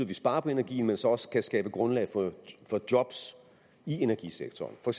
vi sparer på energien men så også kan skabe grundlag for job i energisektoren for